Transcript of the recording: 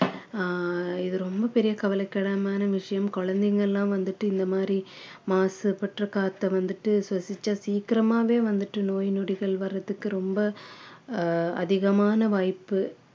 ஆஹ் இது ரொம்ப பெரிய கவலைக்கிடமான விஷயம் குழந்தைங்க எல்லாம் வந்துட்டு இந்த மாதிரி மாசுபட்ட காத்த வந்துட்டு சுவாசிச்சா சீக்கிரமாவே வந்துட்டு நோய் நொடிகள் வர்றதுக்கு ரொம்ப ஆஹ் அதிகமான வாய்ப்பு